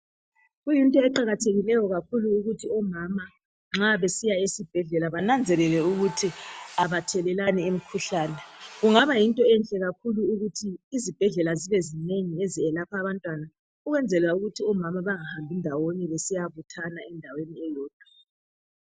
Kuyinto eqakathekileyo kakhulu ukuthi omama nxa besiya esibhedlela bananzelele ukuthi abathelelani imikhuhlane. Kungaba yinto enhle kakhulu ukuthi izibhedlela zibe zinengi ezelapha abantwana ukwenzela ukuthi omama bangahambi ndawonye besiyabuthana endaweni eyodwa.